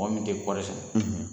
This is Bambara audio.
Mɔgɔ min tɛ kɔɔri sɛnɛ.